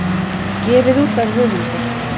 Gefið út af höfundi.